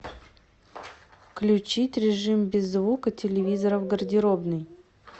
включить режим без звука телевизора в гардеробной